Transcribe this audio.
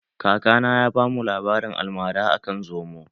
Kakana ya ba mu labarin almara akan zomo